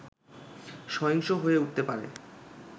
সহিংস হয়ে উঠতে পারে